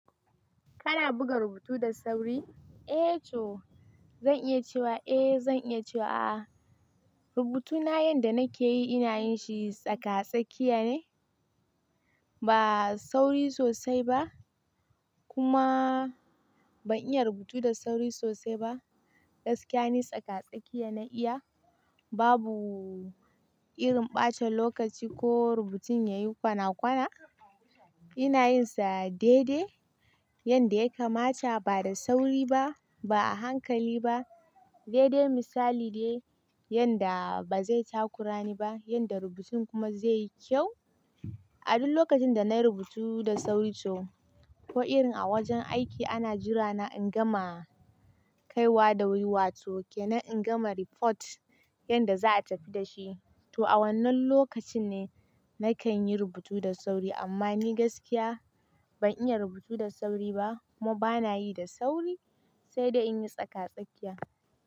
Kana buga rubutu da sauri? Eh to zan iya cewa eh zan iya cewa a'a. Rubutuna yanda nake yi ina yin shi tsaka-tsakiya ne, ba sauri sosai ba kuma ban iya rubutu da sauri sosai ba. Gaskiya ne tsaka-tsakiya na iya babu irin bata lokaci ko rubutun yayi kwana kwana. Ina yin sa daidai yanda ya kamata ba da sauri ba ba a hankali ba. Daidai misali ne yanda ba zai takurani ba yanda rubutun kuma zai yi kyau. A duk lokacin da na yi rubutu da sauri to ko irin a wajen aiki ana jira na in gama kaiwa da wuriwa to ke na in gama report yanda za'a tafi da shi. To a wannan lokacin ne nakan yi rubutu da sauri amma ni gaskiya ban iya rubutu da sauri ba kuma bana yi da sauri sai da in yi tsaka-tsakiya.